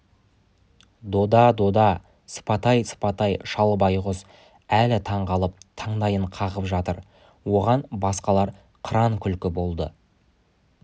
дода дода сыпатай сыпатай шал байғұс әлі таңқалып таңдайын қағып жатыр оған басқалар қыран күлкі болды